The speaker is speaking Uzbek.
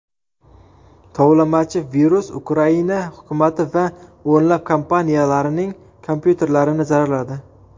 Tovlamachi-virus Ukraina hukumati va o‘nlab kompaniyalarining kompyuterlarini zararladi.